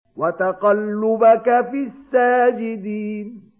وَتَقَلُّبَكَ فِي السَّاجِدِينَ